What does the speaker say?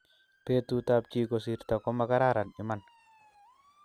Betut ab chi kosirto ko makararan iman